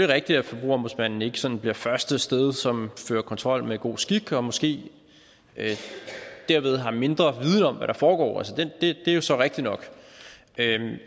rigtigt at forbrugerombudsmanden ikke sådan bliver det første sted som fører kontrol med god skik og måske derved har mindre viden om hvad der foregår det er jo så rigtigt nok